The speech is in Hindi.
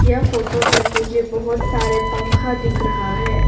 यह फोटो में मुझे बहोत सारे पंखा दिख रहा है।